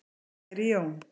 Kæri Jón